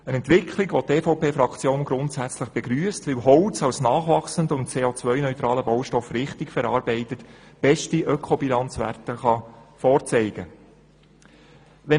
Die EVPFraktion begrüsst grundsätzlich diese Entwicklung, weil Holz als nachwachsender und CO-neutraler Baustoff richtig verarbeitet beste Ökobilanzwerte vorzeigen kann.